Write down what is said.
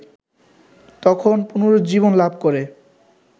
তখন পুনরুজ্জীবন লাভ করে